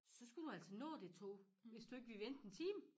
Så skulle du altså nå det tog hvis du ikke ville vente en time